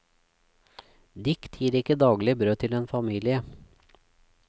Dikt gir ikke daglig brød til en familie.